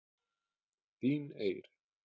Þín Eir.